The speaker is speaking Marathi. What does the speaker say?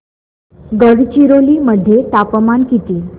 गडचिरोली मध्ये तापमान किती